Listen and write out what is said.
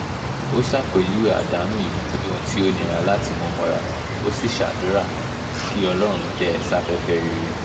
ó ṣàpèjúwe àdánù yìí bíi ohun tó nira láti mú mọ́ra ó sì ṣàdúrà kí ọlọ́run tẹ̀ ẹ́ sáfẹ́fẹ́ rere